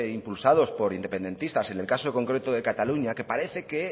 impulsados por independentistas en el caso concreto de cataluña que parece que